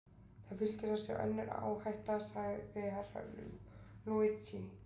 Það fylgir þessu önnur áhætta, sagði Herra Luigi.